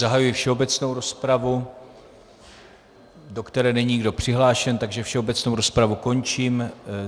Zahajuji všeobecnou rozpravu, do které není nikdo přihlášen, takže všeobecnou rozpravu končím.